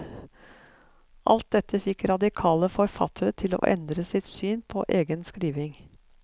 Alt dette fikk radikale forfattere til å endre sitt syn på egen skriving.